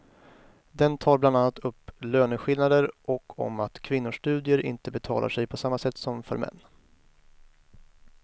Den tar bland annat upp löneskillnader och om att kvinnors studier inte betalar sig på samma sätt som för män.